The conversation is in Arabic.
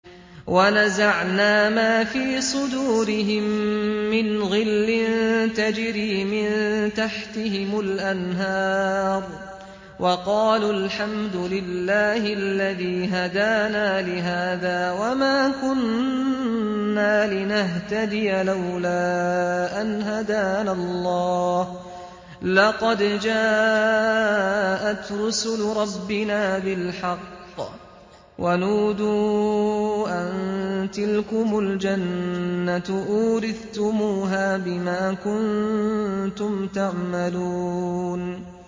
وَنَزَعْنَا مَا فِي صُدُورِهِم مِّنْ غِلٍّ تَجْرِي مِن تَحْتِهِمُ الْأَنْهَارُ ۖ وَقَالُوا الْحَمْدُ لِلَّهِ الَّذِي هَدَانَا لِهَٰذَا وَمَا كُنَّا لِنَهْتَدِيَ لَوْلَا أَنْ هَدَانَا اللَّهُ ۖ لَقَدْ جَاءَتْ رُسُلُ رَبِّنَا بِالْحَقِّ ۖ وَنُودُوا أَن تِلْكُمُ الْجَنَّةُ أُورِثْتُمُوهَا بِمَا كُنتُمْ تَعْمَلُونَ